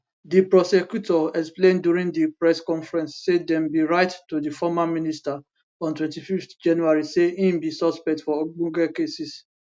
di prosecutor explain during di press conference say dem bin write to di former minister on 25 january say im be suspect for ogbonge cases